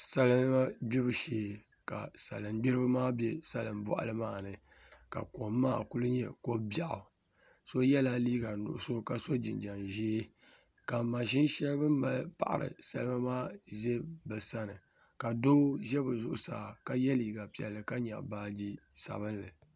salima gbibu shee ka salingbiriba maa be salimbɔɣili maa ni ka kom maa kuli nyɛ ko' biɛɣu so yɛla liiga nuɣiso ka so jinjam ʒee ka maʒini shɛli bɛ ni mali paɣiri salima maa za bɛ sani ka doo za bɛ zuɣusaa ka ye liiga piɛlli ka nyaɣi baaji sabilinli